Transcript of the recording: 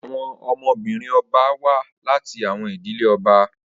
Awọn ọmọ-binrin ọba wa lati awọn idile ọba